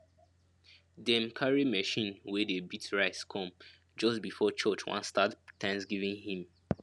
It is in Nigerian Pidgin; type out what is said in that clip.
dem carry machine wey dey beat rice come just before church wan start thanksgiving hymn